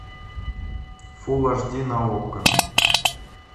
фул аш ди на окко